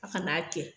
A kan'a kɛ